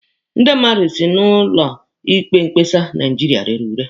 Ndị mmadụ si na ụlọ ikpe mkpesa Naijiria rere ure.